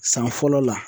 San fɔlɔ la